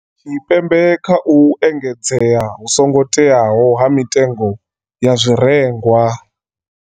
Tshipembe kha u engedzea hu songo teaho ha mitengo ya zwi rengwa.